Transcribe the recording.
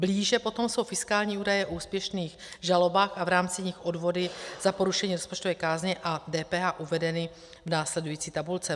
Blíže potom jsou fiskální údaje o úspěšných žalobách a v rámci nich odvody za porušení rozpočtové kázně a DPH uvedeny v následující tabulce.